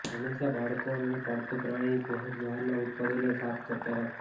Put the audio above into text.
હંમેશા બાળકો અને પાળતુ પ્રાણીની પહોંચ બહારના ઉત્પાદનોને સાફ કરતા રાખો